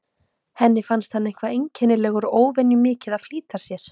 Henni fannst hann eitthvað einkennilegur og óvenju mikið að flýta sér.